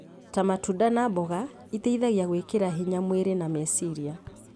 ta matunda na mboga iteithagia gwĩkĩra hinya mwĩrĩ na meciria.